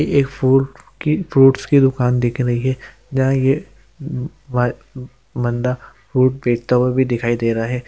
एक फ्रूट की फ्रूट्स की दुकान दिख रही है जहां ये बन्दा फ्रूट्स बेचता हुआ भी दिखाई दे रहा है।